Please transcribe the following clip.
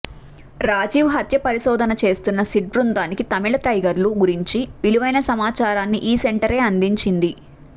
రాజీవ్ హత్య పరిశోధన చేస్తున్న సిట్ బృందానికి తమిళ టైగర్ల గురించి విలువైన సమాచారాన్ని యీ సెంటరే అందించింది